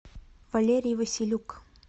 валерий василюк